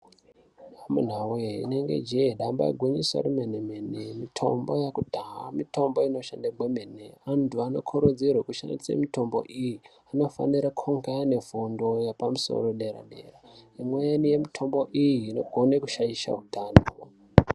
Amunawee rinenge jee damba igwinyiso remene mene mitombo yekudhaya mitombo inoshanda kwemene antu ano kurudzirwa kushandisa mitombo iyi vantu vanofanirwa kunge vane fundo pamusori yepadera dera imweni yemitombo iyi inogone kushaisha hutano.